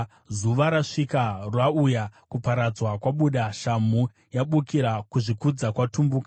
“Zuva rasvika! Rauya! Kuparadzwa kwabuda, shamhu yabukira, kuzvikudza kwatumbuka!